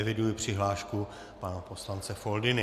Eviduji přihlášku pana poslance Foldyny.